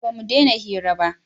a'a ba mu dena hira ba